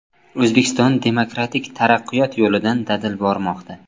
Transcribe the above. O‘zbekiston demokratik taraqqiyot yo‘lidan dadil bormoqda.